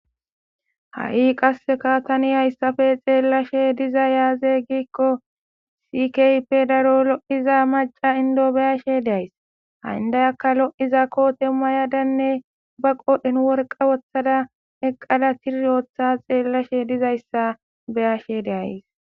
Ha'i qasseka tani hayssafe xeellashe diza yaaze giikko sikeyppe daro lo'iza maca indo beyashe days ha indayaka lo'iza koote ma yadanne ba qodhen worqa woththada eqqala tir ooththa xeellashe dizayssa beyashe deays.